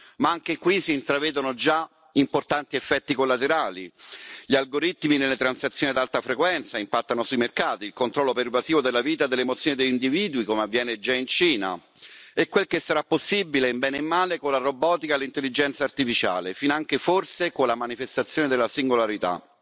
Ma anche qui si intravedono già importanti effetti collaterali. Gli algoritmi che nelle transazioni ad alta frequenza impattano sui mercati, il controllo pervasivo della vita e delle emozioni degli individui, come già avviene in Cina. E quel che sarà possibile, nel bene e nel male, con la robotica e l'intelligenza artificiale, finanche forse con la manifestazione della singolarità.